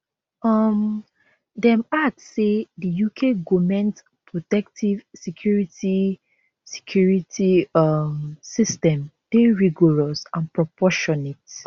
um dem add say di uk goment protective security security um system dey rigorous and proportionate